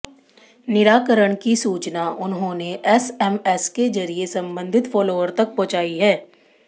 निराकरण की सूचना उन्होंने एसएमएस के जरिए संबंधित फॉलोअर तक पहुँचाई है